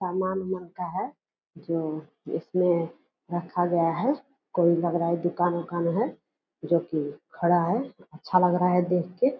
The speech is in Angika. सामान-ऊमान का है जो इसमें रखा गया है कोई लग रहा है दुकान-ऊकान है जो कि खड़ा है अच्छा लग रहा है देख के।